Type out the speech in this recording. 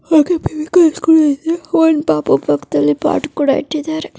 ಹಾಗೆ P V K high school ಇದೆ ಒಂದು ಪಾಪು ಪಕ್ಕದಲ್ಲಿ ಪಾಟ್ ಕೂಡ ಇಟ್ಟಿದ್ದಾರೆ.